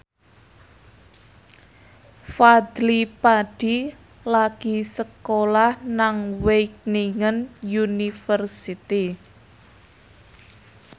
Fadly Padi lagi sekolah nang Wageningen University